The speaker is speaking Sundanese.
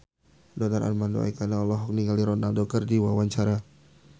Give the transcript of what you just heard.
Donar Armando Ekana olohok ningali Ronaldo keur diwawancara